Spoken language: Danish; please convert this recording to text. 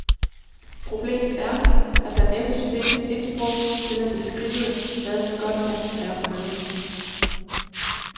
Problemet er, at der næppe findes et sprog til at beskrive, hvad godt fjernsyn er for noget.